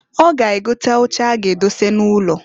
Ọ ga egote oche a ga-edose n'ụlọ.